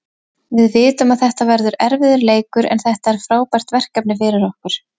Við vitum að þetta verður erfiður leikur, en þetta er frábært verkefni fyrir okkur.